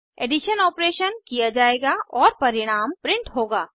addition operation किया जायेगा और परिणाम प्रिंट होगा